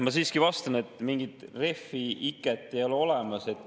Ma siiski vastan, et mingi refi-iket ei ole olemas.